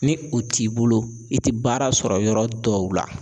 Ni o t'i bolo i ti baara sɔrɔ yɔrɔ dɔw la.